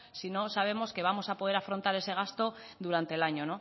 si no sabemos que vamos a poder afrontar ese gasto durante el año